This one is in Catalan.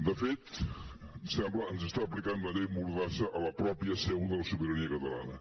de fet sembla ens està aplicant la llei mordassa a la mateixa seu de la sobirania catalana